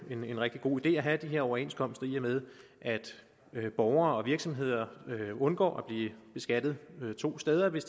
en rigtig god idé at have de her overenskomster i og med at borgere og virksomheder undgår at blive beskattet to steder hvis